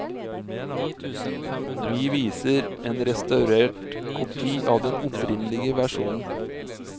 Vi viser en restaurert kopi av den opprinnelige versjonen.